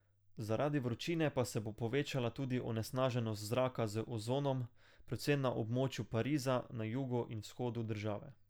Zaradi vročine pa se bo povečala tudi onesnaženost zraka z ozonom, predvsem na območju Pariza, na jugu in vzhodu države.